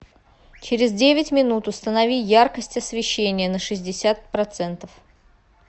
через девять минут установи яркость освещения на шестьдесят процентов